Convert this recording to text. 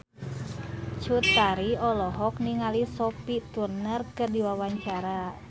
Cut Tari olohok ningali Sophie Turner keur diwawancara